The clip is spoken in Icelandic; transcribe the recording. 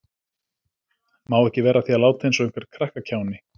Má ekki vera að því að láta eins og einhver krakkakjáni.